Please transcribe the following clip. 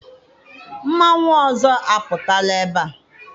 Mmanwụ ọzọ apụtala ebea?